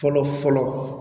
Fɔlɔ fɔlɔ